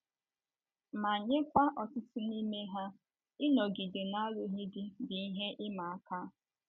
Ma nyekwa ọtụtụ n’ime ha, ịnọgide n’alụghị di bụ ihe ịma aka.